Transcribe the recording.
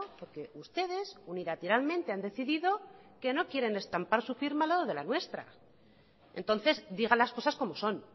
porque ustedes unilateralmente han decidido que no quieren estampar su firma al lado de la nuestra entonces diga las cosas como son